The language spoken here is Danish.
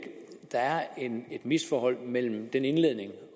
der er et misforhold mellem den indledning